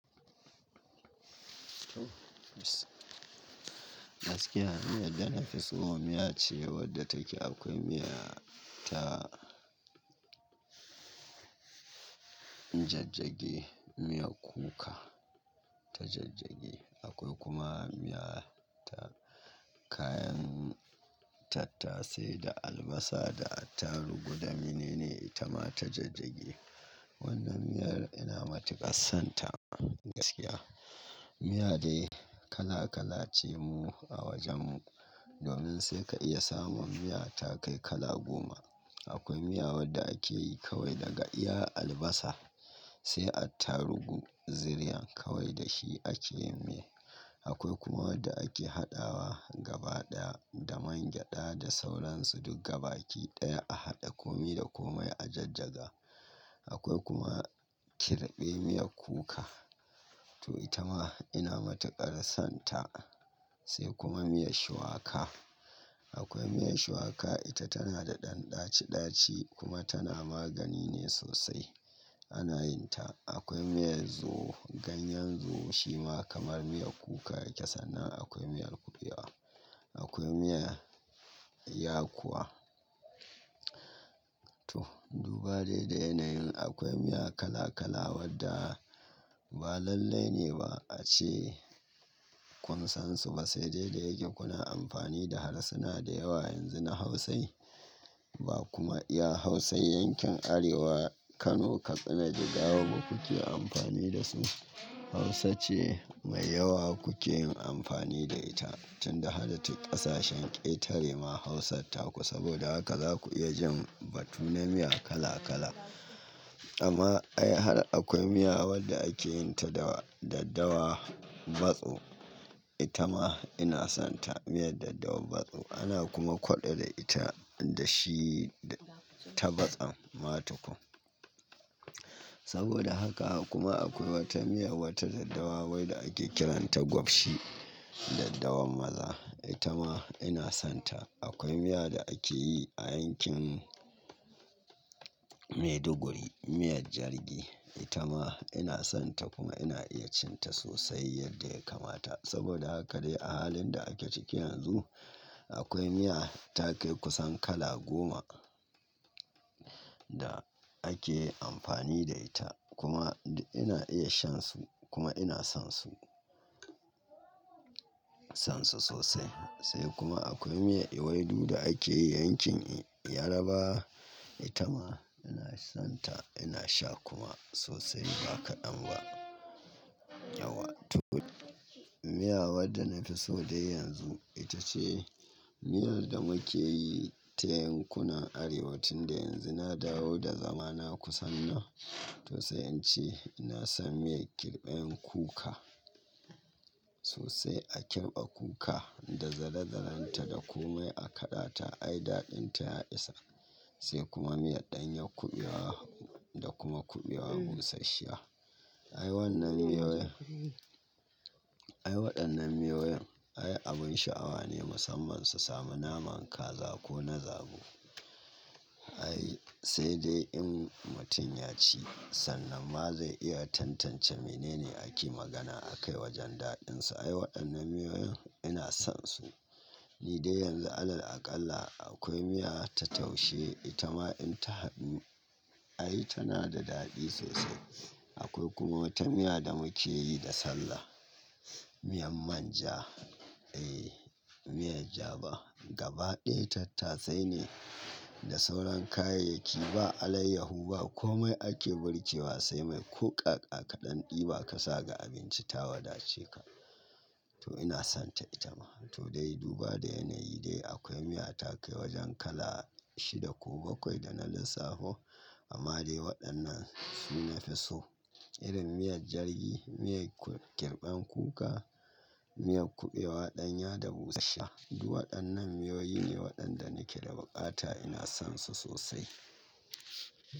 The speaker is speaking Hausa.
Gaskiya miyan da na fi so a miya ce wadda take akwai miya ta ta jajjage, miyar kuka ta jijjigi. Akwai kuma miya ta kayan tattasai da albasa da attarugu. Dami nene ita ma ta jajjage. Wannan miyar ina matuƙar sonta gaskiya. Miya dai kala-kala ce mu a wajen mu. Domin sai ka iya samun miya ta kai kala goma. Akwai miya wadda akeyi kawai daga iya albasa, sai attaruhu, ziriyan kawai dashi akeyin miyan. Akwai kuma wadda ake haɗawa gaba ɗaya, da man gyada da sauransu duk gabaki ɗaya a haɗa. Komi da komai a jajjaga. Akwai kuma kirɓen miyar kuka, toh ita ma ina matuƙar sonta. Sai kuma miyar shuwaka. Akwai miyar shuwaka ita tana da ɗan ɗaci ɗaci kuma tana magani ne sosai. Anayin ta. Akwai miyar zo, ganyen zo shi ma kamar miyar kuka yake, sannan Akwai miyar kuɓewa. Akwai miyar yakuwa. Toh, duba dai da yanayin akwai miya kala-kala wadda ba lallai ne ba, ace kun san su ba. Sai dai da yake kuna amfani da harsuna da yawa yanzu na Hausa ba kuma iya Hausa yankin Arewa Kano, Katsina, Jigawa ba kuke amfani da su. Hausa ce mai yawa kuke yin amfani da ita. Tunda haracin ƙasashen ƙetare ma Hausa ta ku. Saboda haka za ku iya jin batu na miya kala kala. Amma ai har akwai miya wadda ake yin ta da daddawa matso. Ita ma ina sonta. Miyar daddawa matso, ana kuma kwaɗo da ita, da shi ta matson ma tukun. Saboda haka kuma akwai wata miya, wata daddawa wai da ake kiranta gwafshi. Daddawan maza. Ita ma ina sonta. Akwai miya da akeyi a yankin, Maiduguri. Miyar Jargi. Ita ma ina sonta kuma ina iya cin ta sosai yadda ya kamata. Saboda haka dai a halin da ake ciki yanzu akwai miya ta kai kusan kala goma, da ake amfani da ita. Kuma ina iya shan su, kuma ina son su. Son su sosai. Sai kuma akwai miya iwai du da ake yi yankin Yarabawa. Ita ma ina sonta ina sha kuma sosai ba kaɗan ba. Yauwa. Toh, miya wadda nafi so dai yanzu ita ce, miyar da mukeyi ta yankuna Arewa, tunda yanzu na dawo da zamana kusan nan. To sai in ce ina son miyan kirɓen kuka sosai. A kirɓa kuka da zalazalanta, da komai akaɗa ta ai daɗin ta ya isa. Sai kuma miyar ɗanyar kuɓewa, da kuma kuɓewa busasshiya. Ai waɗannan miyoyin, ai abun sha'awa ne musamman su samu naman kaza, ko na zabo. Ai, sai dai in mutum ya ci sannan ma zai iya tantance mene ne ake magana a kai wajen daɗinsa. Ai waɗannan miyoyin ina son su. Ni dai yanzu alal aƙalla, akwai miya ta taushe. Ita ma in ta haɗu, ai tana da daɗi sosai. Akwai kuma wata miya da mukeyi da sallah. Miyan manja. Eh miyar jaba. Gaba ɗaya tattasai ne, da sauran kayayyaki ba alaiyaho ba. Komai ake birkewa sai mai, koh ka-ka kaɗan ɗiba ka sa ga abinci ta wadace ka. Toh ina sonta ita ma. Toh, dai duba dai yanayi dai akwai miya ta kai wajen kala shida ko bakwai da na lissafo. Amma dai waɗannan su nafi so. Irin miyar Jargi, miyar kirɓen kuka, miyar kuɓewa ɗanya da busasshiya. Du waɗannan miyoyi ne waɗanda nake da buƙata ina son su sosai.